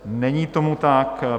Není tomu tak.